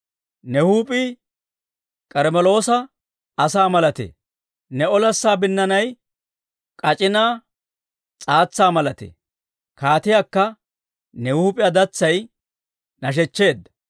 Ne huup'ii K'armmeloosa asaa malatee; ne olassa binnaanay k'ac'inaa s'aatsaa malatee; kaatiyaakka ne huup'iyaa datsay nashechcheedda.